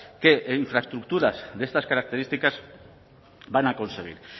que infraestructuras de estas características van a conseguir